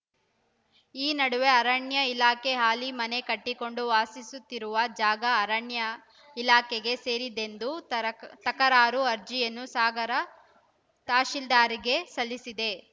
ಈ ನಡುವೆ ಅರಣ್ಯ ಇಲಾಖೆ ಹಾಲಿ ಮನೆ ಕಟ್ಟಿಕೊಂಡು ವಾಸಿಸುತ್ತಿರುವ ಜಾಗ ಅರಣ್ಯ ಇಲಾಖೆಗೆ ಸೇರಿದ್ದೆಂದು ತರಕ್ ತಕರಾರು ಅರ್ಜಿಯನ್ನು ಸಾಗರ ತಹಸೀಲ್ದಾರ್‌ಗೆ ಸಲ್ಲಿಸಿದೆ